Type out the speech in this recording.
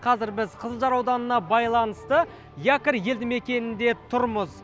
қазір біз қызылжар ауданына байланысты якорь елді мекенінде тұрмыз